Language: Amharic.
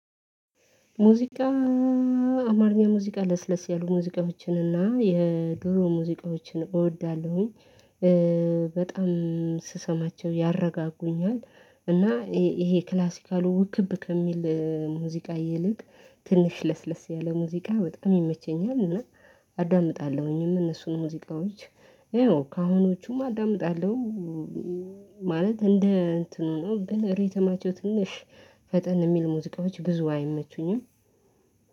ሙዚቃ አማርኛ ሙዚቃ ለስለስ ያሉ ሙዚቃዎችን እና የድሮ ሙዚቃዎችን እወዳለሁኝ። በጣም ስሰማቸው ያረጋጉኛል። እና ይሄ ክላሲካል ውክብ ከሚል ሙዚቃ ይልቅ ትንሽ ለስለስ ያለ ሙዚቃ በጣም ይመቸኛል እና አዳምጣለሁኝ እነሱን ሙዚቃዎች። ከአሁኖቹም አዳምጣለሁ። ማለት እንደ እንትኑ ነው ግን ሪትማቸው ትንሽ ፈጠን የሚል ሙዚቃዎች ብዙ አይመቹኝም።